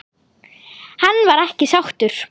Hann var ekki sáttur.